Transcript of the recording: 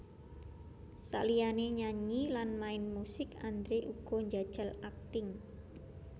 Saliyané nyanyi lan main musik Andre uga njajal akting